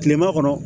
Kilema kɔnɔ